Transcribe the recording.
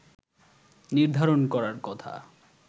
নির্ধারণ করার কথা